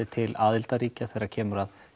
til aðildarríkja þegar kemur að